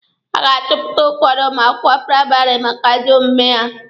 A ga-achụpụ ụfọdụ ụmụ akwụkwọ praịmarị maka ajọ omume ha.